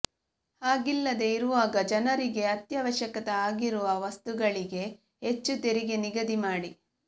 ಹಾಗಿಲ್ಲದೇ ಇರುವಾಗ ಜನರಿಗೆ ಅತ್ಯವಶ್ಯಕ ಆಗಿರುವ ವಸ್ತುಗಳಿಗೆ ಹೆಚ್ಚು ತೆರಿಗೆ ನಿಗದಿ ಮಾಡಿ